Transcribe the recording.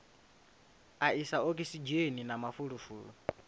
a isa okisidzheni na mafulufulu